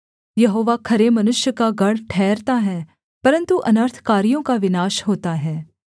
यहोवा खरे मनुष्य का गढ़ ठहरता है परन्तु अनर्थकारियों का विनाश होता है